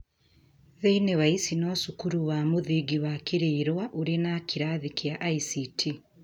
Thĩinĩ wa ici, no cukuru wa mũthingi wa Kirirwa ũrĩ na kĩrathi kĩa ICT.